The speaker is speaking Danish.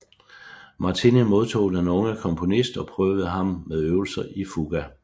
Martini modtog den unge komponist og prøvede ham med øvelser i fuga